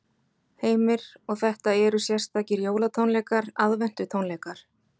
Heimir: Og þetta eru sérstakir jólatónleikar, aðventutónleikar?